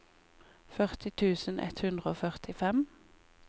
førti tusen ett hundre og førtifem